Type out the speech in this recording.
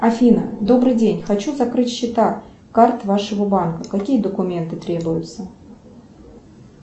афина добрый день хочу закрыть счета карт вашего банка какие документы требуются